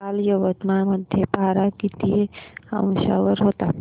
काल यवतमाळ मध्ये पारा किती अंशावर होता